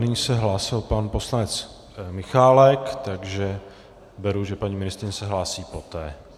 Nyní se hlásil pan poslanec Michálek, takže beru, že paní ministryně se hlásí poté.